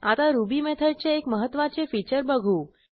आता रुबी मेथडचे एक महत्त्वाचे फीचर बघू